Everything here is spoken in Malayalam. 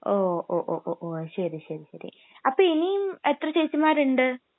ഓ, ഒ, ഒ, ഓ...ശരി, ശരി.അപ്പൊ ഇനീം എത്ര ചേച്ചിമാരുണ്ട്?